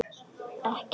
Ekki neitt